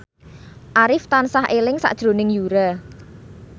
Arif tansah eling sakjroning Yura